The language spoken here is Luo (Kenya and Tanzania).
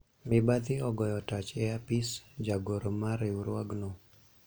mibadhi ogoyo tach e apis jagoro mar riwruogno